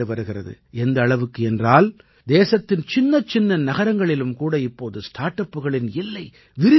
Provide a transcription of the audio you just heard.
எந்த அளவுக்கு என்றால் தேசத்தின் சின்னச்சின்ன நகரங்களிலும் கூட இப்போது ஸ்டார்ட் அப்களின் எல்லை விரிந்திருக்கிறது